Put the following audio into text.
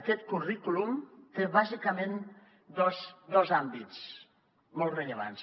aquest currículum té bàsicament dos àmbits molt rellevants